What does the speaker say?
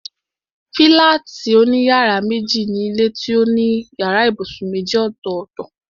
Fílátì òní yàrá méjì ni ilé tó ní yàrá ibùsùn méjì ọ̀tọ̀ọ̀tọ̀